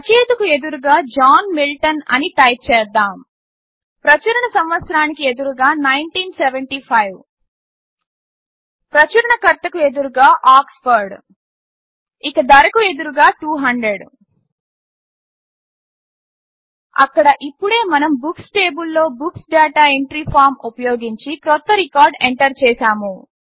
రచయితకు ఎదురుగా John Milton అని type చేద్దాము ప్రచురణ సంవత్సరానికి ఎదురుగా 1975 ప్రచురణకర్తకు ఎదురుగా ఆక్స్ఫోర్డ్ ఇక ధరకు ఎదురుగా 200 అక్కడ ఇప్పుడే మనం బుక్స్ టేబుల్లో బుక్స్ డాటా ఎంట్రీ ఫార్మ్ ఉపయోగించి క్రొత్త రికార్డ్ ఎంటర్ చేసాము